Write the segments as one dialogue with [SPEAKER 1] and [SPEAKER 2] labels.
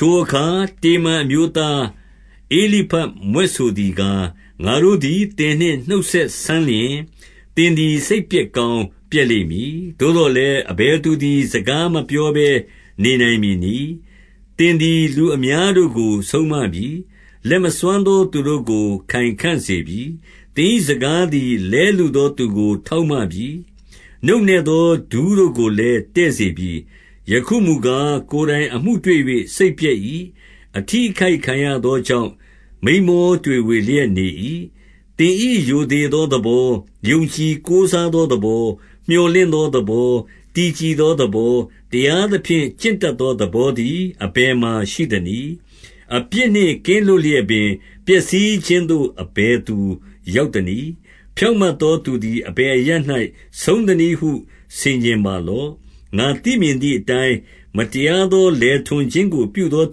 [SPEAKER 1] ထိုအခါ တေမန်အမျိုးသား ဧလိဖတ်မြွက်ဆိုသည်ကား၊ 2 ငါတို့သည် သင်နှင့် နှုတ်ဆက်စမ်းလျှင်၊ သင်သည် စိတ်ပျက်ကောင်းပျက်လိမ့်မည်။ သို့သော်လည်း၊ အဘယ်သူသည် စကားမပြောဘဲ နေနိုင်မည်နည်း။ 3 သင်သည် လူအများတို့ကို ဆုံးမပြီ။ လက်မစွမ်းသောသူတို့ကို ခိုင်ခံ့စေပြီ။ 4 သင်၏စကားသည် လဲလုသောသူကို ထောက်မပြီ။ နုန့်နဲသောဒူးတို့ကိုလည်း တည့်စေပြီ။ 5 ယခုမူကား၊ ကိုယ်တိုင်အမှုတွေ့၍ စိတ်ပျက်၏။ အထိအခိုက်ခံရသော ကြောင့် မိန်းမောတွေဝေလျက် နေ၏။ 6 သင်၏ရိုသေသောသဘော၊ ယုံကြည်ကိုးစားသောသဘော၊ မြော်လင့်သောသဘော၊ တည်ကြည်သော သဘော၊ တရားသဖြင့် ကျင့်တတ်သောသဘောသည် အဘယ်မှာရှိသနည်း။ 7 အပြစ်နှင့်ကင်းလွတ်လျက်ပင် ပျက်စီးခြင်းသို့ အဘယ်သူရောက်သနည်း။ ဖြောင့်မတ်သောသူသည် အဘယ်အရပ်၌ ဆုံးသနည်းဟု ဆင်ခြင်ပါလော့။ 8 ငါသိမြင်သည်အတိုင်း၊ မတရားသော လယ်ထွန်ခြင်းကို ပြုသော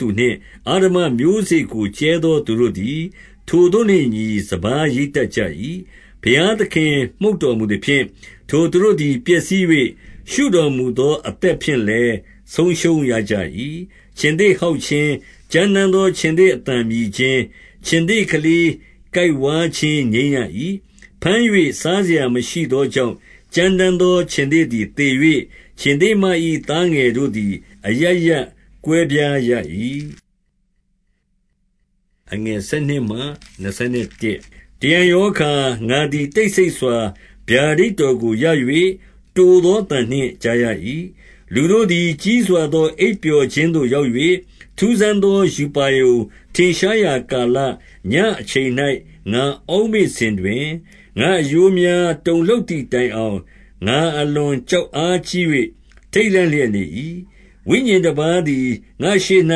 [SPEAKER 1] သူနှင့် အဓမ္မမျိုးစေ့ကို ကြဲသောသူတို့ သည် ထိုသို့နှင့်အညီ စပါးရိတ်တတ်ကြ၏။ 9 ဘုရားသခင်မှုတ်တော်မူသဖြင့်၊ ထိုသူတို့သည် ပျက်စီး၍၊ ရှုတော်မူသောအသက်ဖြင့်လည်း ဆုံးရှုံးရကြ ၏။ 10 ခြင်္သေ့ဟောက်ခြင်း၊ ကြမ်းတမ်းသော ခြင်္သေ့အသံမြည်ခြင်း၊ ခြင်္သေ့ကလေးကိုက်ဝါးခြင်း ငြိမ်းရ၏။ 11 ဘမ်း၍ စားစရာမရှိသောကြောင့်၊ ကြမ်းတမ်းသော ခြင်္သေ့သည်သေ၍၊ ခြင်္သေ့မ၏သားငယ်တို့သည် အရပ်ရပ် ကွဲပြားရကြ၏။ 12 တရံရောအခါ ငါသည် တိတ်ဆိတ်စွာ ဗျာဒိတ်တော်ကို ရ၍ တိုသောအသံကိုကြားရ၏။ 13 လူတို့သည်ကြီးစွာသော အိပ်ပျော်ခြင်းသို့ရောက်၍၊ ထူးဆန်းသောရူပါရုံထင်ရှားရာ ကာလညဉ့်အချိန်၌ ငါအောက်မေ့စဉ်တွင်၊ 14 ငါ့အရိုးများ တုန်လှုပ်သည်တိုင်အောင်၊ ငါ အလွန်ကြောက်အားကြီး၍ ထိတ်လန့်လျက်နေ၏။ 15 ဝိညာဉ်တပါးသည် ငါ့ရှေ့၌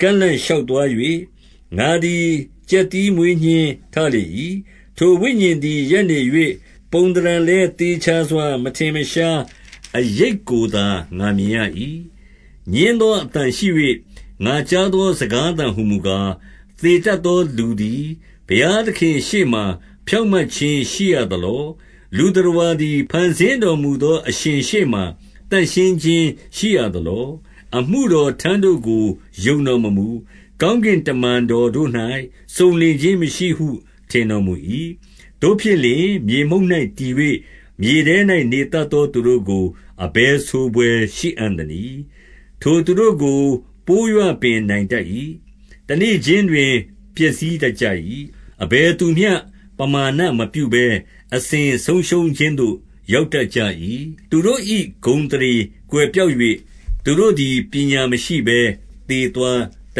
[SPEAKER 1] ကန့်လန့်ရှောက် သွား၍၊ ငါသည် ကြက်သီးမွေးညှင်းထလေ၏။ 16 ထိုဝိညာဉ်သည်ရပ်နေ၍၊ ပုံသဏ္ဍာန်လည်း သေချာစွာ မထင်မရှားအရိပ်ကိုသာ ငါမြင်ရ၏။ ငြင်းသော အသံရှိ၍ ငါကြားသောစကားသံဟူမူကား၊ 17 သေတတ်သောလူသည် ဘုရားသခင့်ရှေ့မှာ ဖြောင့်မတ်ခြင်းရှိရသလော။ လူသတ္တဝါသည် ဖန်ဆင်း တော်မူသော အရှင်ရှေ့မှာ သန့်ရှင်းခြင်း ရှိရသလော။ 18 အမှုတော်ထမ်းတို့ကို ယုံတော်မမူ။ ကောင်းကင်တမန်တော်တို့၌ စုံလင်ခြင်းမရှိဟု ထင်တော်မူ၏။ 19 သို့ဖြစ်လျှင် မြေမှုန့်၌တည်၍ မြေထဲတွင် နေတတ်သောသူတို့ကို အဘယ်ဆိုဘွယ်ရှိအံ့နည်း။ ထိုသူတို့ကို ပိုးရွပင်နိုင်တတ်၏။ 20 တနေ့ခြင်းတွင် ပျက်စီးတတ်ကြ၏။ အဘယ်သူမျှပမာဏမပြုဘဲ အစဉ်ဆုံးရှုံးခြင်းသို့ ရောက်တတ်ကြ၏။ 21 သူတို့၏ဂုဏ်အသရေကွယ်ပျောက်၍ သူတို့သည် ပညာမရှိဘဲ သေသွားတ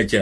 [SPEAKER 1] တ်ကြ